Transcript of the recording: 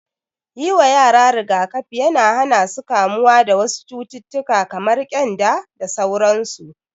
Yi wa yara rigakafi yana hana su kamuwa da wasu cututtuka kamar ƙyanda da sauransu.